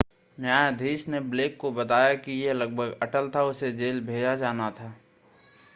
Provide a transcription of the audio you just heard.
न्यायाधीश ने ब्लेक को बताया कि यह लगभग अटल था उसे जेल भेजा जाना था